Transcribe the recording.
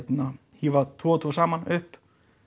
hífa tvo og tvo saman upp